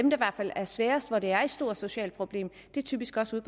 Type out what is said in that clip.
er sværest og hvor det er et stort socialt problem typisk også er